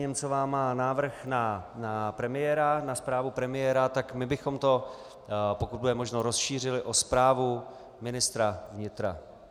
Němcová má návrh na premiéra, na zprávu premiéra, tak my bychom to, pokud bude možno, rozšířili o zprávu ministra vnitra.